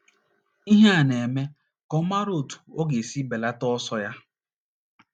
Ihe a na - eme ka ọ mara otú ọ ga - esi belata ọsọ ya.